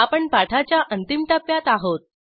आपण पाठाच्या अंतिम टप्प्यात आहोत